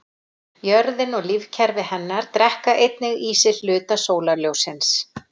Jörðin og lífkerfi hennar drekka einnig í sig hluta sólarljóssins.